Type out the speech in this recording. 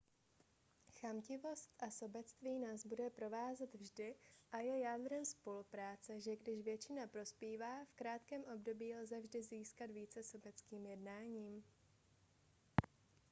chamtivost a sobectví nás bude provázet vždy a je jádrem spolupráce že když většina prospívá v krátkém období lze vždy získat více sobeckým jednáním